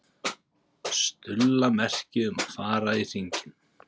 Stulla merki um að fara í hringinn.